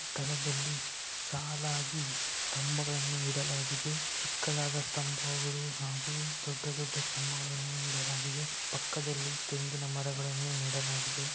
ಈ ಚಿತ್ರಣದಲ್ಲಿ ಸಾಲಾಗಿ ಸ್ತಂಭಗಳನ್ನು ಇಡಲಾಗಿದೆ ಚಿಕ್ಕ ಸ್ತಂಭಗಳು ಮತ್ತು ದೊಡ್ಡ ಸ್ತಂಭಗಳನ್ನು ಇಡಲಾಗಿದೆ ಹಾಗೂ ಪಕ್ಕದಲ್ಲಿ ತೆಂಗಿನ ಮರಗಳನ್ನುನೆಡಲಾಗಿದೆ.